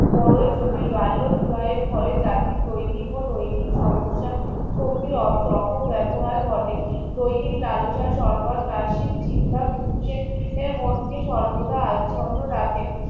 বড়োই জটিল বাল্য বিবাহের ফলে জাতির দৈনিক ও নৈতিক সমস্যা সক্রিয় অপবেবহার ঘটে দৈনিক লালসার সর্বাত চাষীর চিন্তা পুরুষের মধ্যে সর্বদা আচ্ছন্ন রাখে